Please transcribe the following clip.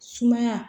Sumaya